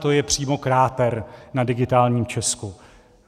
To je přímo kráter na Digitálním Česku.